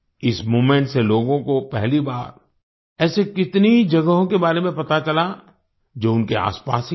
इस मूवमेंट से लोगों को पहली बार ऐसे कितनी ही जगहों के बारे में पता चला जो उनके आसपास ही थे